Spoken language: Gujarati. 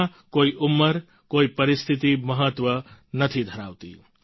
તેમાં કોઈ ઉંમર કોઈ પરિસ્થિતી મહત્વ નથી ધરાવતી